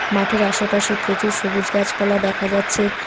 মাঠের আশেপাশে প্রচুর সবুজ গাছপালা দেখা যাচ্ছে।